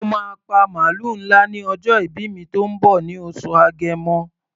Mo máa pa màlúù ńlá ní ọjọ́ ìbí mi tó ń bọ̀ ní oṣù Agẹmọ.